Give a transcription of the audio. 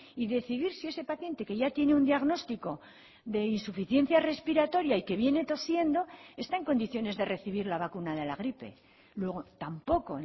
y decidir si ese paciente que ya tiene un diagnóstico de insuficiencia respiratoria y que viene tosiendo está en condiciones de recibir la vacuna de la gripe luego tampoco